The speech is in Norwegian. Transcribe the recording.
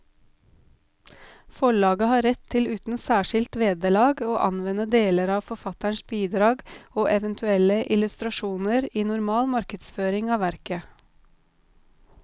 Forlaget har rett til uten særskilt vederlag å anvende deler av forfatterens bidrag og eventuelle illustrasjoner i normal markedsføring av verket.